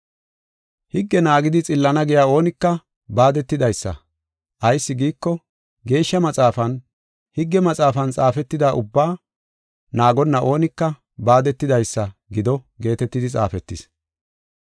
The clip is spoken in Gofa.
Higge naagidi xillana giya oonika baadetidaysa. Ayis giiko, Geeshsha Maxaafan, “Higge maxaafan xaafetida ubbaa naagonna oonika baadetidaysa gido” geetetidi xaafetis.